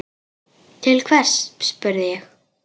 Til hvers, spurði ég.